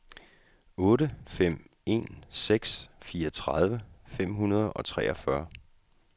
otte fem en seks fireogtredive fem hundrede og treogfyrre